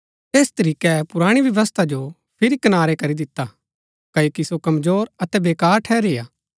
ऐस तरीकै पुराणी व्यवस्था जो फिरी कनारै करी दिता क्ओकि सो कमजोर अतै वेकार ठहरी हा